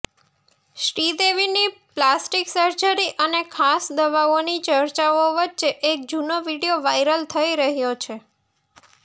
શ્રીદેવીની plastic surgery અને ખાસ દવાઓની ચર્ચાઓ વચ્ચે એક જૂનો વીડિયો વાઈરલ થઈ રહ્યો છે